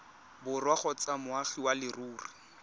borwa kgotsa moagi wa leruri